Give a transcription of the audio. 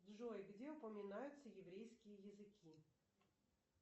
джой где упоминаются еврейские языки